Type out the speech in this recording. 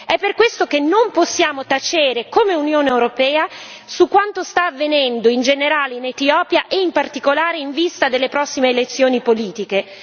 È per questo che non possiamo tacere come Unione europea su quanto sta avvenendo in generale in Etiopia e in particolare in vista delle prossime elezioni politiche.